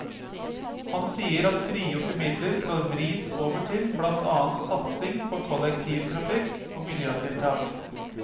Han sier at frigjorte midler skal vris over til blant annet satsing på kollektivtrafikk og miljøtiltak.